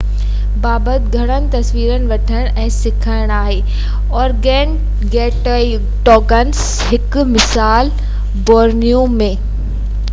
هڪ مثال Borneo ۾ organgatuangs بابت گهمڻ تصويرون وٺڻ ۽ سکڻ آهي